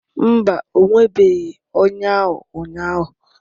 Mba, o nwebeghị ọnya ahụ ụnyahụ